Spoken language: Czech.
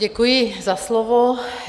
Děkuji za slovo.